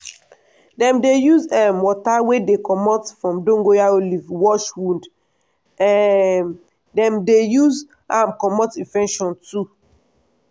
dem dey use um water wey dey comot from dongoyaro leaf wash wound um dem dey use am comot infection too.